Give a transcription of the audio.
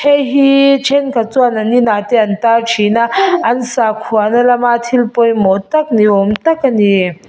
heihi thenkhat chuan an inah te an tar thin a an sakhuana lama thil pawimawh tak ni awm tak a ni.